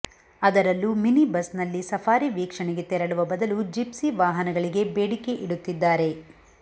ಅದರಲ್ಲೂ ಮಿನಿ ಬಸ್ನಲ್ಲಿ ಸಫಾರಿ ವೀಕ್ಷಣೆಗೆ ತೆರಳುವ ಬದಲೂ ಜಿಪ್ಸಿ ವಾಹನಗಳಿಗೆ ಬೇಡಿಕೆ ಇಡುತ್ತಿದ್ದಾರೆ